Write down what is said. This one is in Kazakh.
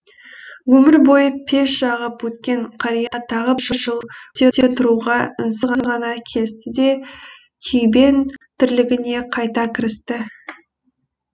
өмір бойы пеш жағып өткен қария тағы бір жыл күте тұруға үнсіз ғана келісті де күйбең тірлігіне қайта кірісті